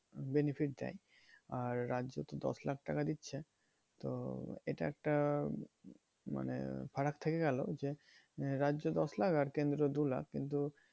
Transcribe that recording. Benefit দেয়। আর রাজ্য তো দশ লাখ টাকা দিচ্ছে। তো এটা একটা মানে ফারাক থেকে গেলো যে, রাজ্য দশ লাখ আর কেন্দ্র দু লাখ কিন্তু